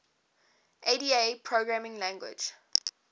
ada programming language